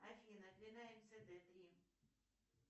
афина длина мцд три